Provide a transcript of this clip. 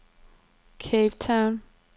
Cape Town